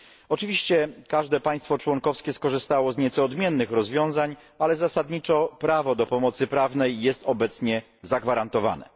Oczywiście każde państwo członkowskie skorzystało z nieco odmiennych rozwiązań, ale zasadniczo prawo do pomocy prawnej jest obecnie zagwarantowane.